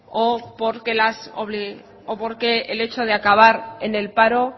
o porque el hecho de acabar en el paro